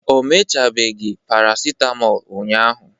o mechabeghị paracetmol ụnyahụ